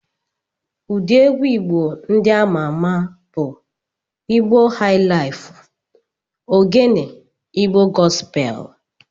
Ụdị egwu Igbo ndị ama ama bụ Igbo haịlaịfu, Ogene, Igbo gọspel.